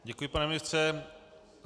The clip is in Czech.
Děkuji, pane ministře.